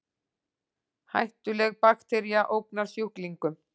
Hættuleg baktería ógnar sjúklingum